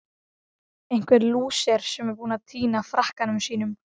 Einhver lúser sem er búinn að týna frakkanum sínum!